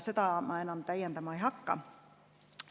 Seda ma täiendama ei hakka.